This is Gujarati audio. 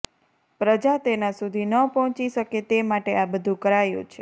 પ્રજા તેના સુધી ન પહોંચી શકે તે માટે આ બધુ કરાયું છે